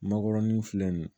Makɔrɔni filɛ nin ye